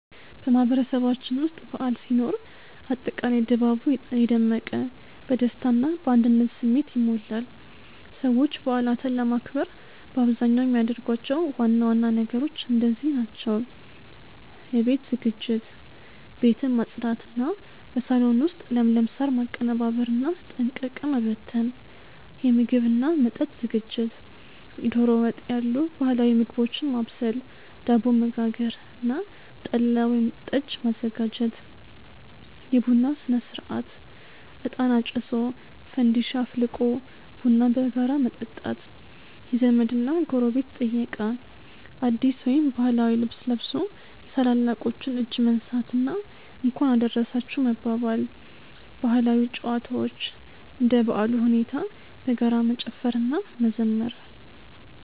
በማህበረሰባችን ውስጥ በዓል ሲኖር አጠቃላይ ድባቡ የደመቀ፣ በደስታ እና በአንድነት ስሜት ይሞላል። ሰዎች በዓላትን ለማክበር በአብዛኛው የሚያደርጓቸው ዋና ዋና ነገሮች እንደዚህ ናቸው፦ የቤት ዝግጅት፦ ቤትን ማጽዳት እና በሳሎን ውስጥ ለምለም ሳር ማቀነባበርና ጠንቀቀ መበተን። የምግብ እና መጠጥ ዝግጅት፦ ዶሮ ወጥ ያሉ ባህላዊ ምግቦችን ማብሰል፣ ዳቦ መጋገር እና ጠላ ወይም ጠጅ ማዘጋጀት። የቡና ሥነ-ሥርዓት፦ እጣን አጭሶ፣ ፋንዲሻ አፍልቆ ቡናን በጋራ መጠጣት። የዘመድ እና ጎረቤት ጥየቃ፦ አዲስ ወይም ባህላዊ ልብስ ለብሶ የታላላቆችን እጅ መንሳት እና "እንኳን አደረሳችሁ" መባባል። ባህላዊ ጨዋታዎች፦ እንደ በዓሉ ሁኔታ በጋራ መጨፈር እና መዘመር።